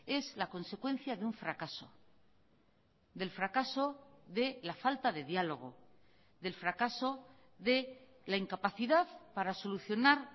es la consecuencia de un fracaso del fracaso de la falta de diálogo del fracaso de la incapacidad para solucionar